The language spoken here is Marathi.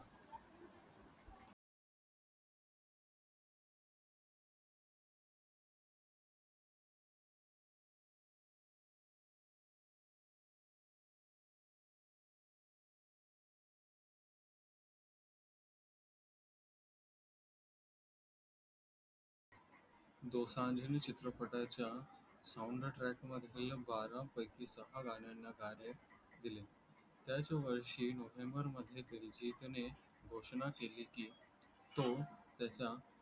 दोसांझने चित्रपटच्या soundtrack मधील बारा पैकी सहा गाण्यांना गायन दिले त्याच वर्षी नोव्हेंबर मध्ये दिलजीतने घोषणा केली की तो त्याच्या